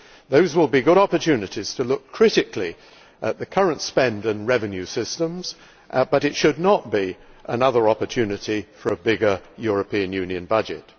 Those will be good opportunities to look critically at the current spend and revenue systems, but it should not be another opportunity for a bigger European Union budget.